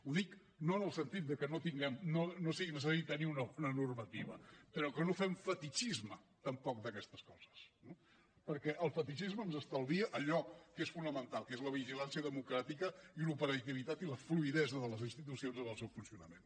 ho dic no en el sentit que no sigui necessari tenir una normativa però que no fem fetitxisme tampoc d’aquestes coses eh perquè el fetitxisme ens estalvia allò que és fonamental que és la vigilància democràtica i l’operativitat i la fluïdesa de les institucions en el seu funcionament